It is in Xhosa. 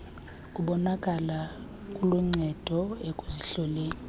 kubonakala kuluncedo ekuzihloleni